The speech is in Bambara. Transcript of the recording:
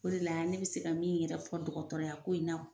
O de la yan ne bɛ se ka min yɛrɛ fɔ dɔgɔtɔraya ko in na